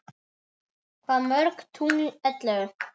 Hvað mörg tungl ellefu?